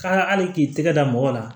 Ka hali k'i tɛgɛ da mɔgɔ la